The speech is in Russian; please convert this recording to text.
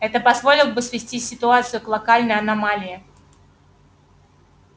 это позволил бы свести ситуацию к локальной аномалии